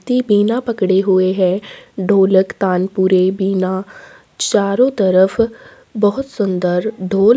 दे बिना पड़े हुए है ढोलक तानपुरे बिना चारो तरफ बहुत सुंदर ढोल--